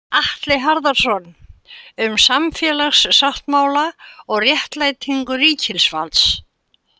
Atli Harðarson, Um samfélagssáttmála og réttlætingu ríkisvalds.